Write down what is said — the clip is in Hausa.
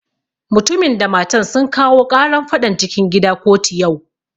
Mutumin da matan sun kawo ƙaran faɗan cikin gida kotu yau